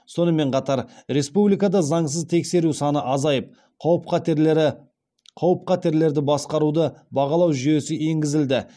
сонымен қатар республикада заңсыз тексеру саны азайып қауіп қатерлерді басқаруды бағалау жүйесі енгізілді